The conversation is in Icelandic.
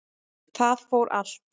Það fór allt